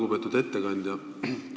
Lugupeetud ettekandja!